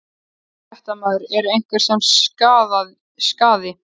Fréttamaður: Er einhvern sem sakaði?